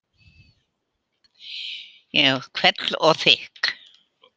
Hvell og þykk.